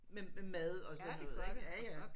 Med mad og sådan noget ik ja ja